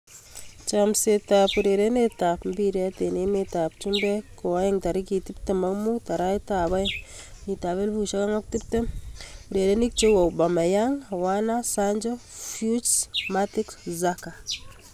Chomset ab urerenet ab mbiret eng emet ab chumbek koaeng' tarikit 25.02.2020: Aubameyang, Werner, Sancho, Fuchs, Matic, Xhaka